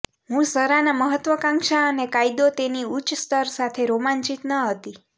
હું ઝરા ના મહત્વાકાંક્ષા અને કાયદો તેની ઉચ્ચ સ્તર સાથે રોમાંચિત ન હતી